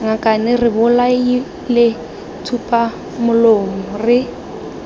ngakane re bolaile tsupamolomo re